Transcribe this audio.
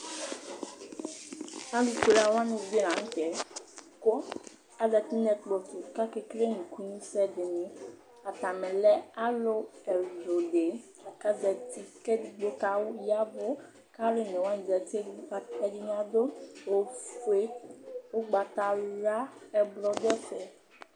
Alʋfue wanɩ la nʋ tɛ, kʋ azǝtɩ nʋ ɛkplɔ tʋ, kʋ aka ekele nukunusɛ dɩnɩ Atani lɛ alʋ ɛwlʋdɩ kʋ azǝtɩ Edigbo ya ɛvʋ, kʋ alʋ onewa zǝtɩ Ɛdɩnɩ adʋ ofue, ugbatawla Ɛblɔ dʋ ɛfɛ